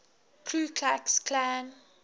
ku klux klan